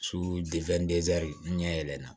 n ɲɛ yɛlɛla